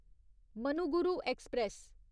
Manuguru express